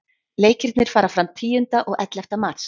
Leikirnir fara fram tíunda og ellefta mars.